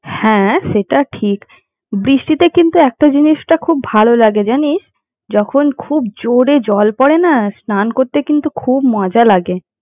হ্যাঁ সেটা ঠিক বৃষ্টিতে কিন্তু একটা জিনিস খুব ভালো লাগে জানিস যখন খুব জোরে জল পরে না, স্নান করতে কিন্তু খুব মজা লাগে।